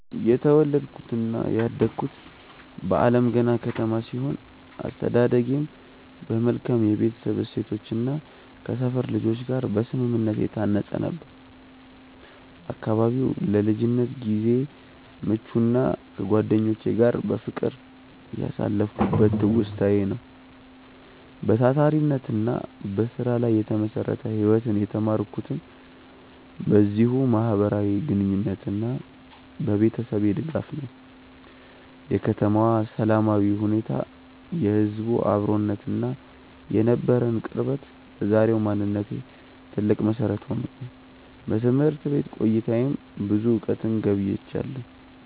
የተወለድኩትና ያደግኩት በአለምገና ከተማ ሲሆን፣ አስተዳደጌም በመልካም የቤተሰብ እሴቶችና ከሰፈር ልጆች ጋር በስምምነት የታነጸ ነበር። አካባቢው ለልጅነት ጊዜዬ ምቹና ከጓደኞቼ ጋር በፍቅር ያሳለፍኩበት ትውስታዬ ነው። በታታሪነትና በስራ ላይ የተመሰረተ ህይወትን የተማርኩትም በዚሁ ማህበራዊ ግንኙነትና በቤተሰቤ ድጋፍ ነው። የከተማዋ ሰላማዊ ሁኔታ፣ የህዝቡ አብሮነትና የነበረን ቅርበት ለዛሬው ማንነቴ ትልቅ መሰረት ሆኖኛል። በትምህርት ቤት ቆይታዬም ብዙ እውቀትን ገብይቻለሁ።